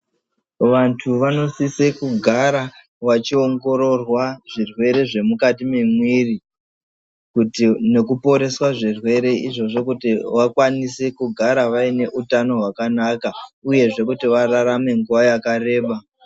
Vantu vanosise kugara vachiwongororwa zvirwere zvemukati mwemiri nekuporeswa zvirwere izvozvo kuti vakwanise kugara vaine utano hwakanaka uyezve kuti vararame nguwa yakareba.